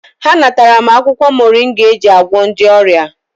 Ha natara m akwụkwọ moringa eji agwọ ndị ọrịa.